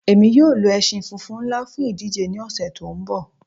Ẹ̀mi yọ̀ lo ẹ̀ṣin fúnfún nlá fún ìdíjè ní ọṣẹ̀ tó nbọ̀